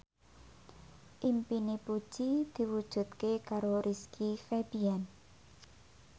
impine Puji diwujudke karo Rizky Febian